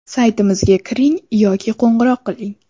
Saytimizga kiring yoki qo‘ng‘iroq qiling.